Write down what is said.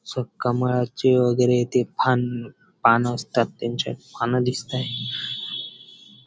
स कमळाचे वगैरे ते फान पान असतात त्यांचे पान दिसताहेत.